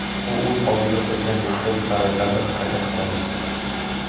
U o‘z oldiga qo‘ygan maqsadi sari dadil harakat qiladi.